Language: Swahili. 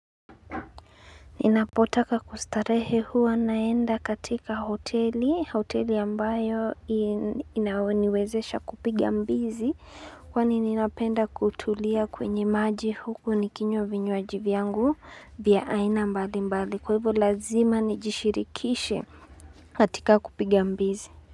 Ninapotaka kustarehe huwa naenda katika hoteli, hoteli ambayo inaoniwezesha kupigia mbizi kwani ninapenda kutulia kwenye maji huku nikinywa vinywaji vyangu vya aina mbali mbali kwa hivyo lazima nijishirikishe katika kupigia mbizi.